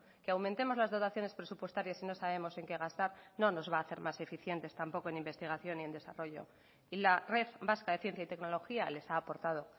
que aumentemos las dotaciones presupuestarias si no sabemos en qué gastar no nos va a hacer más eficientes tampoco en investigación y en desarrollo y la red vasca de ciencia y tecnología les ha aportado